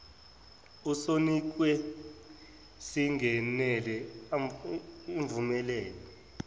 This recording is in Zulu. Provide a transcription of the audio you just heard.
osinikiwe singenela uvumelekile